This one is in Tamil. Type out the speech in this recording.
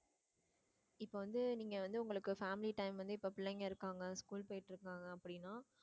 இப்ப வந்து நீங்க வந்து உங்களுக்கு family time வந்து இப்ப பிள்ளைங்க இருக்காங்க family time போயிட்டு இருக்காங்க அப்படின்னா